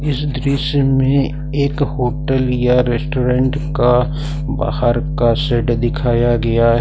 इस दृश्य में एक होटल या रेस्टोरेंट का बाहर का सेड दिखाया गया है।